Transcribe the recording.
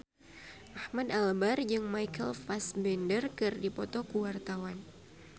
Ahmad Albar jeung Michael Fassbender keur dipoto ku wartawan